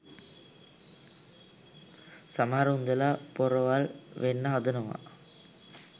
සමහර උන්දැලා පොරවල් වෙන්න හදනවා